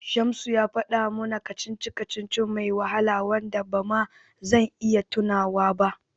Shamsu ya faɗa mana kacici-kacici mai wahala da ba ma zan iya tunawa ba.